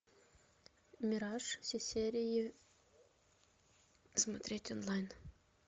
мираж все серии смотреть онлайн